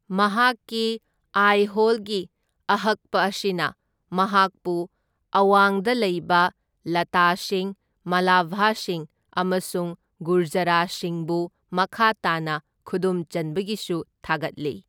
ꯃꯍꯥꯛꯀꯤ ꯑꯥꯏꯍꯣꯜꯒꯤ ꯑꯍꯛꯄ ꯑꯁꯤꯅ ꯃꯍꯥꯛꯄꯨ ꯑꯋꯥꯡꯗ ꯂꯩꯕ ꯂꯇꯥꯁꯤꯡ, ꯃꯥꯂꯥꯚꯥꯁꯤꯡ ꯑꯃꯁꯨꯡ ꯒꯨꯔꯖꯔꯥꯁꯤꯡꯕꯨ ꯃꯈꯥ ꯇꯥꯅ ꯈꯨꯗꯨꯝꯆꯟꯕꯒꯤꯁꯨ ꯊꯥꯒꯠꯂꯤ꯫